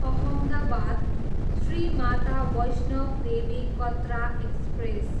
Ahmedabad, Shri Mata Vaishnodevi Katra express